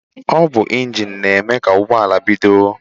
Ọ bụ injin na-eme ka ụgbọala bido.